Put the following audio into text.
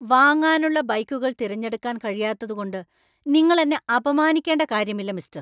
വാങ്ങാനുള്ള ബൈക്കുകൾ തിരഞ്ഞെടുക്കാൻ കഴിയാത്തതുകൊണ്ട് നിങ്ങള്‍ എന്നെ അപമാനിക്കണ്ട കാര്യമില്ല, മിസ്ടര്‍.